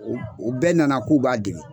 O o bɛɛ nana k'u b'a dege.